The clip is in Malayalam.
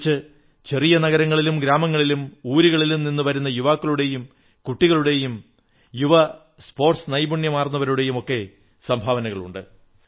മറിച്ച് ചെറിയ നഗരങ്ങളിലും ഗ്രാമങ്ങളിലും ഊരുകളിലും നിന്നു വരുന്ന യുവാക്കളുടെയും കുട്ടികളുടെയും യുവ സ്പോർട്സ് നൈപുണ്യമാർന്നവരുടെയും ഒക്കെ സംഭാവനകളുണ്ട്